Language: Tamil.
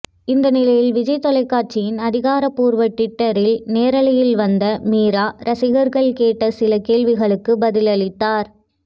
இந்த நிலையில் விஜய் தொலைக்காட்சியின் அதிகாரபூர்வ ட்விட்டரில் நேரலையில் வந்த மீரா ரசிகர்கள் கேட்ட சில கேள்விகளுக்கு பதிலளித்தார்